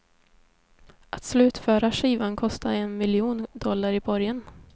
Att slutföra skivan kostade en miljon dollar i borgen.